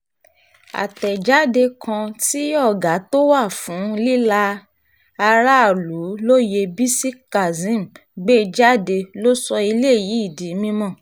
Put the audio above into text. àtẹ̀jáde kan tí ọ̀gá tó wà fún líla aráàlú lóye bisi kazeem gbé jáde ló sọ eléyìí di mímọ́